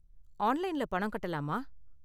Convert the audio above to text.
ஆன்லைன்ல பணம் கட்டலாமா?